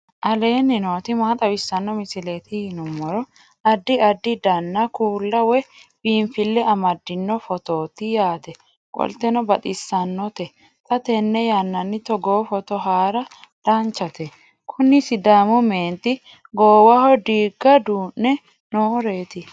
aleenni nooti maa xawisanno misileeti yinummoro addi addi dananna kuula woy biinfille amaddino footooti yaate qoltenno baxissannote xa tenne yannanni togoo footo haara danchate kuni sidaamu meenti goowaho diiga duu'ne nooreeti.